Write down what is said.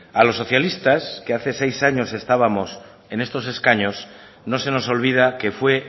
a los socialistas que hace seis años estábamos en estos escaños no se nos olvida que fue